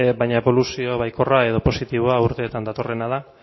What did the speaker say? baina eboluzio baikorra edo positiboa urteetan datorrena da